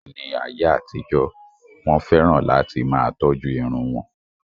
Ní ayé àtijó, Wọ́n fẹ́ràn láti máa tọ́jú irun wọn.